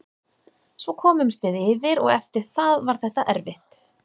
Svo komumst við yfir og eftir það var þetta erfitt.